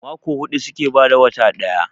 Mako hudu suke bada wata daya